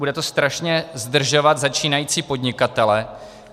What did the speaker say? Bude to strašně zdržovat začínající podnikatele.